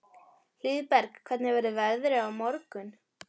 Hlíðberg, hvernig verður veðrið á morgun?